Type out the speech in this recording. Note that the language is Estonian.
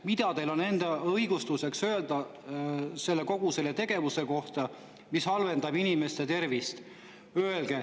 Mida teil on öelda enda õigustuseks ja kogu selle tegevuse kohta, mis halvendab inimeste tervist?